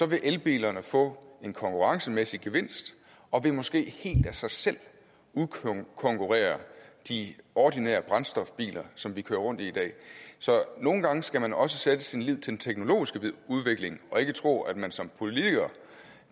vil elbilerne få en konkurrencemæssig gevinst og måske helt af sig selv udkonkurrere de ordinære brændstofbiler som vi kører rundt i dag så nogle gange skal man også sætte sin lid til den teknologiske udvikling og ikke tro at man som politiker